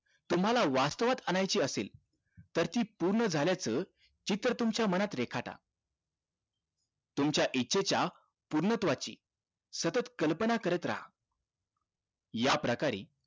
तुम्हाला वास्थवात आणायची असेल तर ती पूर्ण झाल्याचं चित्र तुमच्या मनात रेखाटा तुमच्या इच्छेच्या पूर्णत्वाची सतत कल्पना करत रहा याप्रकारे